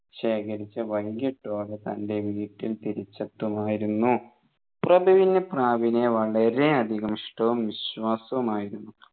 ശേഖരിച്ച് വൈകിട്ടോടെ തൻെ വീട്ടിൽ തിരിച്ചെത്തുമായിരുന്നു പ്രഭുവിന് പ്രാവിനെ വളരെ അധികം ഇഷ്ടവും വിശ്വാസവുമായിരുന്നു